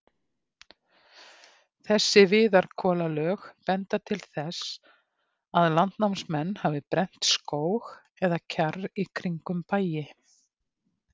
Þessi viðarkolalög benda til þess, að landnámsmenn hafi brennt skóg eða kjarr í kringum bæi.